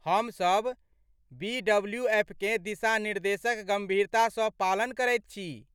हम सभ बीडब्लूएफकेँ दिशानिर्देशक गम्भीरतासँ पालन करैत छी।